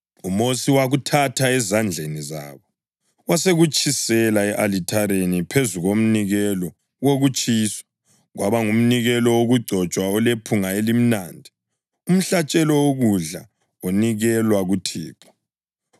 UMosi wakuthatha ezandleni zabo wasekutshisela e-alithareni phezu komnikelo wokutshiswa, kwaba ngumnikelo wokugcotshwa olephunga elimnandi, umhlatshelo wokudla onikelwa kuThixo.